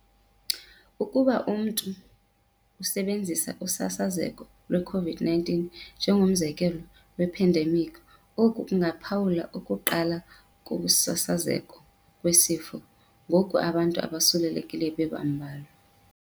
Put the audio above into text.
Ukuba umntu usebenzisa usasazeko lweCovid-19 njengomzekelo we-ephendemikhi, oku kungaphawula ukuqala kokusasazeka kwesifo, ngoku abantu abosulelekileyo bebambalwa.